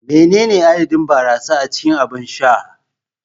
Menene adadin barasa a cikin abin sha?